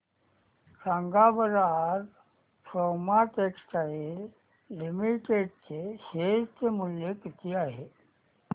सांगा बरं आज सोमा टेक्सटाइल लिमिटेड चे शेअर चे मूल्य किती आहे